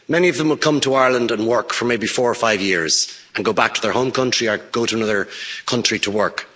Many of them have come to Ireland and worked for maybe four or five years and then go back to their home country or go to another country to work.